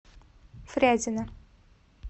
фрязино